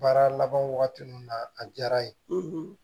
Baara laban wagati min na a diyara n ye